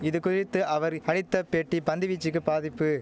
இது குறித்து அவரி அளித்த பேட்டி பந்துவீச்சுக்கு பாதிப்பு